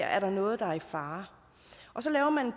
er noget i fare og så laver